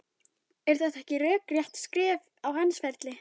Er þetta ekki rökrétt skref á hans ferli?